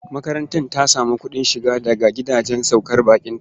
Makaranta ta sami kuɗin shiga daga gidajen saukar baƙinta.